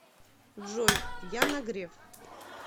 джой яна греф